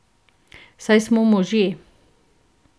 Saj smo možje.